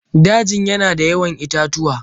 Dajin yana da yawan itatuwa.